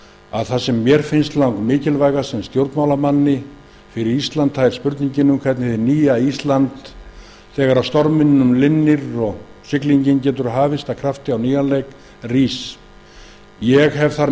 nú það sem mér finnst langmikilvægast sem stjórnmálamanni fyrir ísland er spurningin um hvernig hið nýja ísland rís þegar storminum linnir og siglingin getur hafist af krafti á nýjan leik ég hef